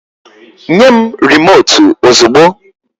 Nye m rimòtu ozugbo!